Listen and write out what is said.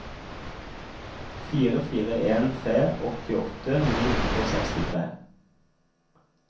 fire fire en tre åttiåtte ni hundre og sekstitre